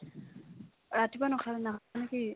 ৰাতিপুৱা নাখালা না নে কি ?